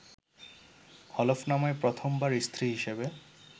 হলফনামায় প্রথম বার স্ত্রী হিসেবে